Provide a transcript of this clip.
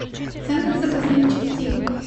центр запасных частей